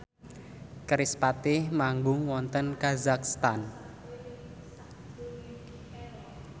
kerispatih manggung wonten kazakhstan